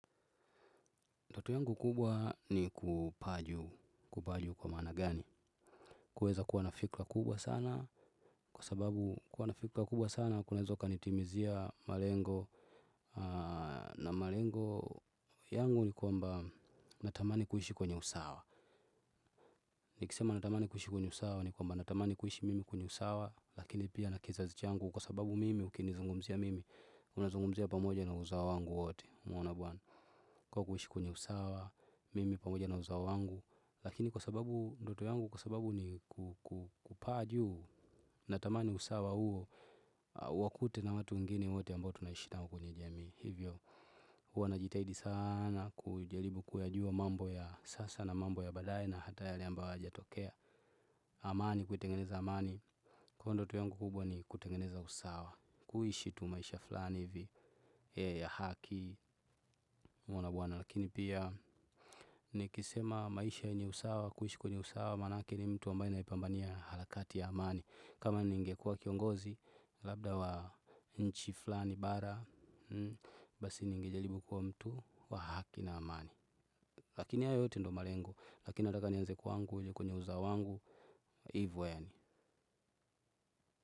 Ndoto yangu kubwa ni kupaa juu, kupaa juu kwa maana gani? Kuweza kuwa nafikira kubwa sana kwa sababu kuwa nafikira kubwa sana kunaweza kukanitimizia malengo na malengo yangu ni kwamba natamani kuishi kwenye usawa. Nikisema natamani kuishi kwenye usawa ni kwamba natamani kuishi mimi kwenye usawa lakini pia na kizazi changu kwa sababu mimi ukinizungumzia mimi. Unazungumzi ya pamoja na uzawo wangu wote unaona bwana. Kwa kuishi kwenye usawa. Mimi pamoja na uzawo wangu. Lakini kwa sababu ndoto yangu kwa sababu ni kupaa juu. Natamani usawa huo uwakute na watu wengine wote ambao tunaishi nao kwenye jamii hivyo huwa najitahidi sana. Kujaribu kuyajua mambo ya sasa na mambo ya badaye. Na hata yale ambayo hayajatokea. Amani kuitengeneza amani kwa hiyo ndoto yangu kubwa ni kutengeneza usawa. Kuishi tu maisha fulani hivi ya haki unaona bwana lakini pia nikisema maisha yenye usawa kuishi kwenye usawa maanake ni mtu ambaye naipambania harakati ya amani kama ningekuwa kiongozi labda wa nchi fulani bara basi ninge jaribu kuwa mtu wa haki na amani lakini hayo yote ndo malengo lakini nataka nianze kwangu uje kwenye uzawo wangu ivo yani.